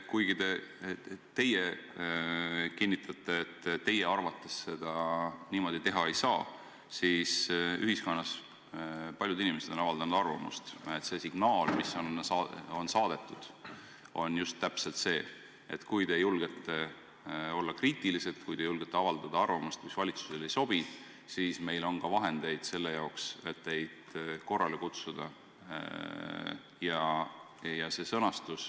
Kuigi te kinnitate, et teie arvates niimoodi teha ei saa, siis ühiskonnas paljud inimesed on avaldanud arvamust, et teie saadetud signaal on just täpselt see, et kui te julgete olla kriitilised, kui te julgete avaldada arvamust, mis valitsusele ei sobi, siis meil on vahendeid, et teid korrale kutsuda.